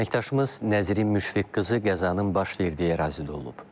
Əməkdaşımız Nəzrin Müşfiq qızı qəzanın baş verdiyi ərazidə olub.